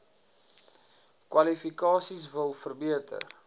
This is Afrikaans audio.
kwalifikasies wil verbeter